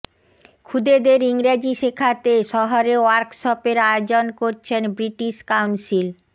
খুদেদের ইংরাজি শেখাতে শহরে ওয়ার্কশপের আয়োজন করছেন ব্রিটিশ কাউন্সিল